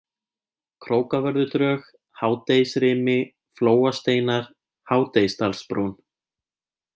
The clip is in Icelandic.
Krókavörðudrög, Hádegisrimi, Flóasteinar, Hádegisdalsbrún